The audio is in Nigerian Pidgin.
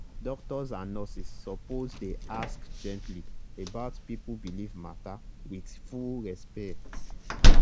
doctors and nurses suppose dey ask gently about people belief matter with with full respect.